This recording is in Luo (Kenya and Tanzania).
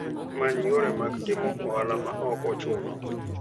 Many yore mag timo ohala ma ok ochuno.